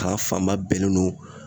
Ta fanba bɛnnen no